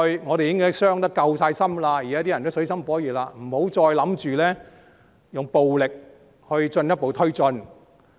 我們已經傷得夠深，現在大家也處於水深火熱之中，不要企圖用暴力作進一步推進。